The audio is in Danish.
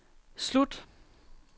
slut